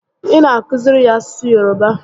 Ị na akụziri ya asụsụ Yoroba?